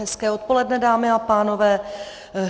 Hezké odpoledne, dámy a pánové.